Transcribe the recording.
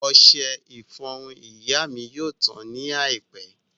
Ọṣẹ ìfọrun ìyá mi yóò tán ní àìpẹ́